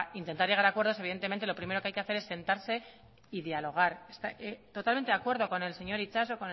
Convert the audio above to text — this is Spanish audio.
intentar llegar a acuerdos evidentemente lo primero que hay que hacer es sentarse y dialogar totalmente de acuerdo con el señor itxaso